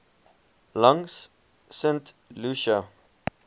langs st lucia